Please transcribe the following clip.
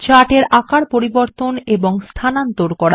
chart এর আকার পরিবর্তন এবং স্থানান্তর করা